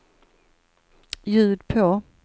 ljud på